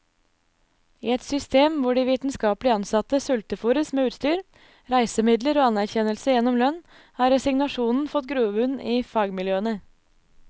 I et system hvor de vitenskapelig ansatte sultefôres med utstyr, reisemidler og anerkjennelse gjennom lønn, har resignasjonen fått grobunn i fagmiljøene.